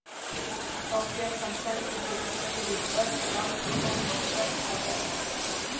Þá fékk hann sendingu inn fyrir vörn Vals og tók á sprett með boltann.